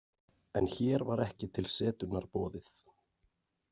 En hér var ekki til setunnar boðið.